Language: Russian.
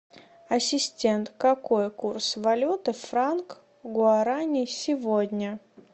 ассистент какой курс валюты франк гуарани сегодня